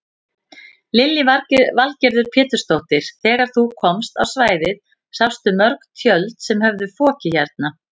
Lillý Valgerður Pétursdóttir: Þegar þú komst á svæðið sástu mörg tjöld sem höfðu fokið hérna?